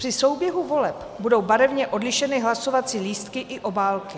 Při souběhu voleb budou barevně odlišeny hlasovací lístky i obálky.